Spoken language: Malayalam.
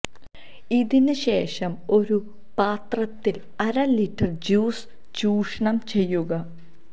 ഇതിന് ശേഷം ഒരു പാത്രത്തിൽ അര ലിറ്റർ ജ്യൂസ് ചൂഷണം ചെയ്യുക